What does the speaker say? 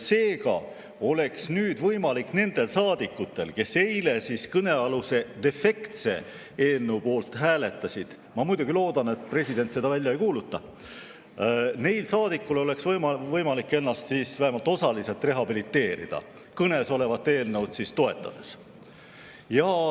Seega oleks nüüd võimalik nendel saadikutel, kes eile kõnealuse defektse eelnõu poolt hääletasid – ma muidugi loodan, et president seda välja ei kuuluta –, ennast vähemalt osaliselt rehabiliteerida, kõnesolevat eelnõu toetades.